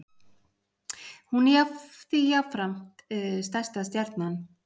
Hún er því jafnframt stærsta stjarnan.